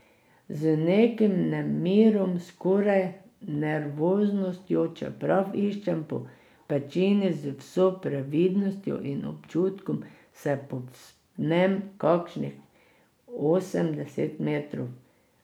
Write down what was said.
Z nekim nemirom, skoraj nervoznostjo, čeprav iščem po pečini z vso previdnostjo in občutkom, se povzpnem kakšnih osem, deset metrov.